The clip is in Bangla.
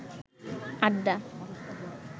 আড্ডা